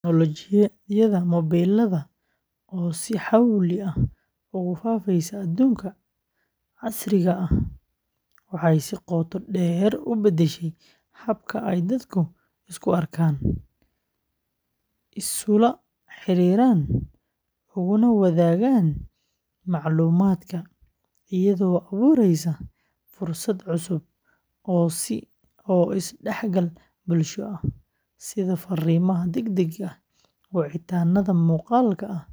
Tignoolajiyada mobilada, oo si xawli ah ugu faafaysa adduunka casriga ah, waxay si qoto dheer u beddeshay habka ay dadku isku arkaan, isula xiriiraan, uguna wadaagaan macluumaadka, iyadoo abuuraysa fursado cusub oo is-dhexgal bulsho ah, sida fariimaha degdegga ah, wicitaannada muuqaalka ah,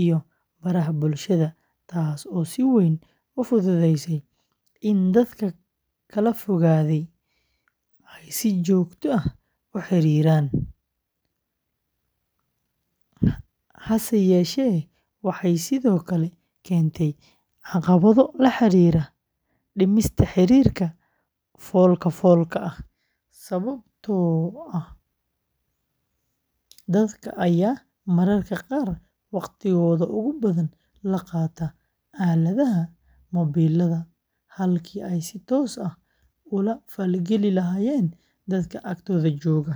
iyo baraha bulshada, taasoo si weyn u fududaysay in dad kala fogaaday ay si joogto ah u xiriiraan, hase yeeshee waxay sidoo kale keentay caqabado la xiriira dhimista xiriirka fool-ka-foolka ah, sababtoo ah dadka ayaa mararka qaar waqtigooda ugu badan la qaata aaladaha mobilada halkii ay si toos ah ula falgeli lahaayeen dadka agtooda jooga,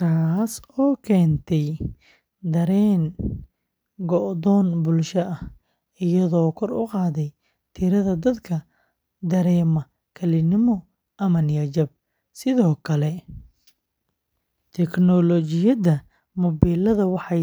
taasoo keentay dareen go’doon bulsho ah, iyadoo kor u qaaday tirada dadka dareema kalinimo ama niyad-jab, sidoo kale tignoolajiyada mobilada waxay saamayn ku yeelatay.